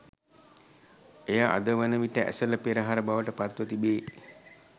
එය අද වන විට ඇසළ පෙරහර බවට පත්ව තිබේ.